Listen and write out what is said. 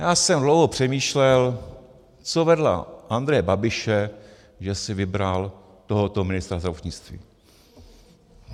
Já jsem dlouho přemýšlel, co vedlo Andreje Babiše, že si vybral tohoto ministra zdravotnictví.